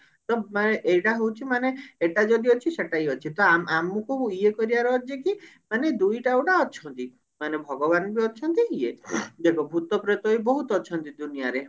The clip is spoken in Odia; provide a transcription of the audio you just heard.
ତ ମାନେ ଏଇଟା ହଉଛି ମାନେ ଏଟା ଯଦି ଅଛି ସେଟା ବି ଅଛି ତ ଆମ ଆମକୁ ଇଏ କରିବାର ଅଛି କି ମାନେ ଦୁଇଟା ଗୋଟେ ଅଛନ୍ତି ମାନେ ଭଗବାନ ବି ଅଛନ୍ତି ଇଏ ଦେଖ ଭୁତପ୍ରେତ ବି ବହୁତ ଅଛନ୍ତି ଦୁନିଆ ରେ